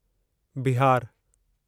बिहारु